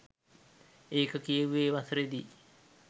ඒක කියෙව්වේ වසරෙදි